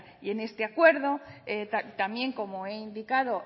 y en este acuerdo también como he indicado